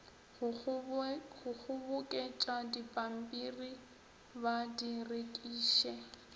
go kgoboketšadipampiri ba di rekiše